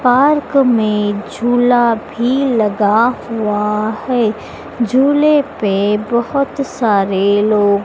park में झुला भी लगा हुआ हैं झूले पे बहोत सारे लोग--